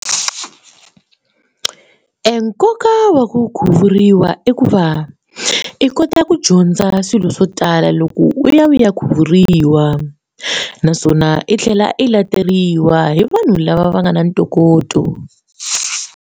Enkoka wa ku khuvuriwa i ku va i kota ku dyondza swilo swo tala loko u ya u ya khuvuriwa naswona i tlhela i lateriwa hi vanhu lava va nga na ntokoto.